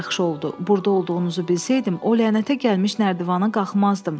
Burda olduğunuzu bilsəydim, o lənətə gəlmiş nərdivana qalxmazdım.